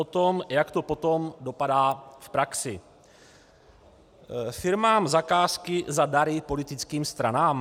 O tom, jak to potom dopadá v praxi: Firmám zakázky za dary politickým stranám?